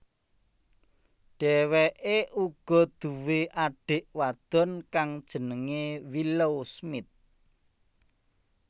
Dheweke uga duwé adik wadon kang jenenge Willow Smith